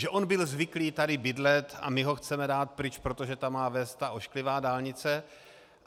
Že on byl zvyklý tady bydlet a my ho chceme dát pryč, protože tam má vést ta ošklivá dálnice.